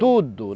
Tudo!